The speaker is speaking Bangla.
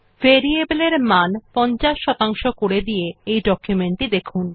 ভেরিয়েবল এ মান ৫০ শতাংশ করে দিয়ে ডকুমেন্ট টি দেখুন